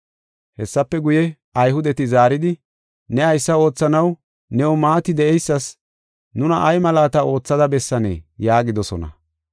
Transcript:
Hessafe guye, Ayhudeti zaaridi, “Ne haysa oothanaw new maati de7eysas nuna ay malaata oothada bessanee?” yaagidosona.